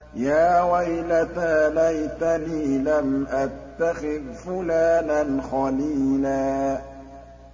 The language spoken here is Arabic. يَا وَيْلَتَىٰ لَيْتَنِي لَمْ أَتَّخِذْ فُلَانًا خَلِيلًا